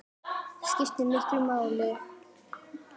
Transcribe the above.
Það skiptir miklu máli.